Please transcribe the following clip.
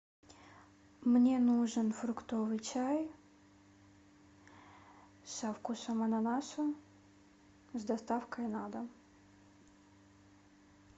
мне нужен фруктовый чай со вкусом ананаса с доставкой на дом